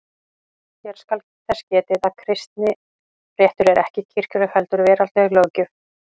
Hér skal þess getið að kristinréttur er ekki kirkjuleg heldur veraldleg löggjöf.